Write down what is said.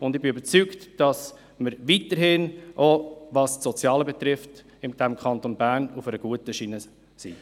Ich bin überzeugt, dass wir im Kanton Bern, auch was das Soziale betrifft, weiterhin auf einer guten Schiene sind.